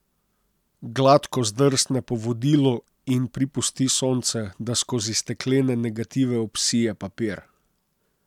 Gladko zdrsne po vodilu in pripusti sonce, da skozi steklene negative obsije papir.